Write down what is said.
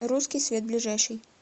русский свет ближайший